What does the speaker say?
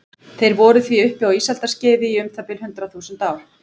Þeir voru því uppi á ísaldarskeiði í um það bil hundrað þúsund ár.